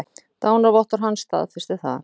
Dánarvottorð hans staðfestir það.